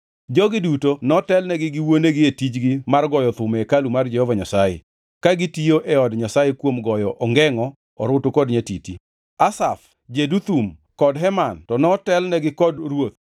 Jogi duto notelnegi gi wuonegi e tijgi mar goyo thum e hekalu mar Jehova Nyasaye, ka gitiyo e od Nyasaye kuom goyo ongengʼo, orutu kod nyatiti. Asaf, Jeduthun, kod Heman to notelonegi kod ruoth.